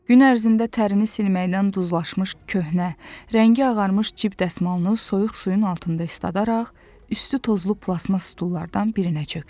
Gün ərzində tərini silməkdən duzlaşmış köhnə, rəngi ağarmış cib dəsmalını soyuq suyun altında isladaraq, üstü tozlu plastmas stullardan birinə çökdü.